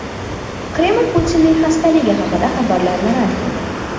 Kreml Putinning xastaligi haqidagi xabarlarni rad qildi.